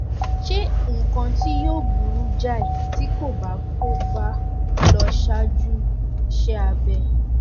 ṣe nǹkan tí yóò burú jáì tí kò bá kò bá lọ ṣáájú iṣẹ abẹ